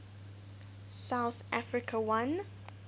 south africa won